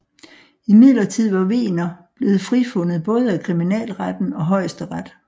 Imidlertid var Wegener blevet frifundet både af kriminalretten og Højesteret